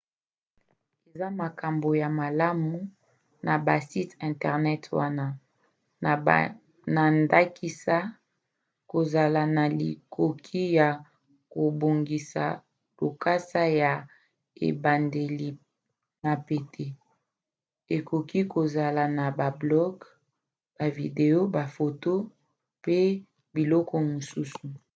eza na makambo ya malamu na basite internet wana na ndakisa kozala na likoki ya kobongisa lokasa ya ebandeli na pete ekoki kozala na ba blog bavideo bafoto pe biloko mosusu